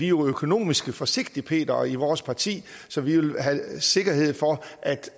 jo økonomiske forsigtigpetere i vores parti så vi vil have sikkerhed for